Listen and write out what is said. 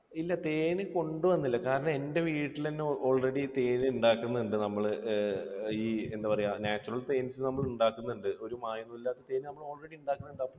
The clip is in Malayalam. ഇല്ല. അത് കൊണ്ടുവന്നില്ല കാരണം എൻറെ വീട്ടിൽ തന്നെ already ഉണ്ടാക്കുന്നുണ്ട്. തേൻ ഉണ്ടാക്കുന്നുണ്ട് നമ്മൾ. ഏർ എന്താ പറയാ natural തേൻ നമ്മൾ ഉണ്ടാക്കുന്നുണ്ട്. ഒരു മായവും ഇല്ലാത്ത തേൻ നമ്മൾ already ഉണ്ടാക്കുന്നുണ്ട്.